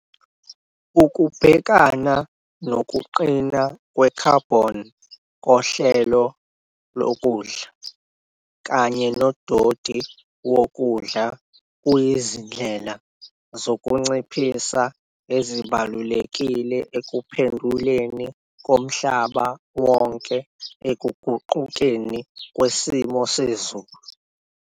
Ukubhekana nokuqina kwekhabhoni kohlelo lokudla kanye nodoti wokudla kuyizindlela zokunciphisa ezibalulekile ekuphenduleni komhlaba wonke ekuguqukeni kwesimo sezulu.